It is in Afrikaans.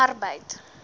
arbeid